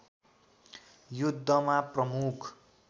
युद्धमा प्रमुख